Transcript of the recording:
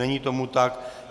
Není tomu tak.